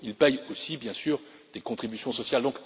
Ils paient aussi, bien sûr, des contributions sociales.